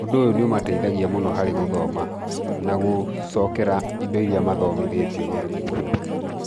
íũndũ ũyũ nĩ ũmateithagia mũno harĩ gũthoma na gũcokera indo irĩa mathomithĩtio nĩ arimũ ao.